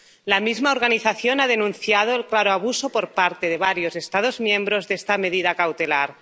La misma organización ha denunciado el claro abuso por parte de varios Estados miembros de esta medida cautelar.